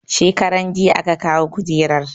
Shekaranjiya aka kawo kujerar